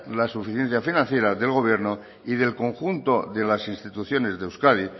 la suficiencia financiera del gobierno y del conjunto de las instituciones de euskadi